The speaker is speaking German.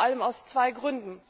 Das vor allem aus zwei Gründen